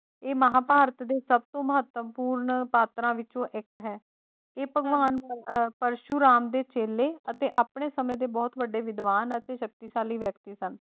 ਇਹ ਮਹਾਂਭਾਰਤ ਦੇ ਸਭਤੋਂ ਮਹੱਤਵਪੂਰਨ ਪਾਤਰਾਂ ਵਿੱਚੋਂ ਇੱਕ ਹੈ, ਇਹ ਭਗਵਾਨ ਅਹ ਪਰਸ਼ੁਰਾਮ ਦੇ ਚੇਲੇ ਤੇ ਆਪਣੇ ਸਮੇਂ ਦੇ ਬਹੁਤ ਵੱਡੇ ਵਿਦਵਾਨ ਅਤੇ ਸ਼ਕਤੀਸ਼ਾਲੀ ਵਿਅਕਤੀ ਸਨ।